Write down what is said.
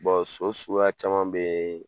so suguya caman be